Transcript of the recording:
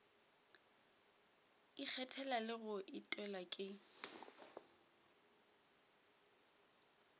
ikgethela le go etelwa ke